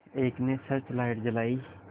एक ने search light जलाई